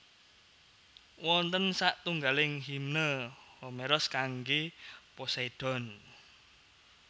Wonten satunggaling Himne Homeros kanggé Poseidon